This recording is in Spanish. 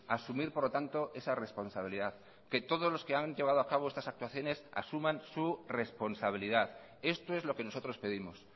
asumir por lo tanto esa responsabilidad que todos los que han llevado a cabo estas actuaciones asuman su responsabilidad esto es lo que nosotros pedimos